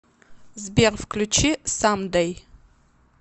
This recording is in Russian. сбер включи самдэй